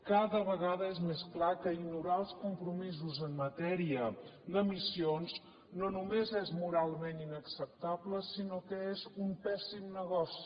cada vegada és més clar que ignorar els compromisos en matèria d’emissions no només és moralment inacceptable sinó que és un pèssim negoci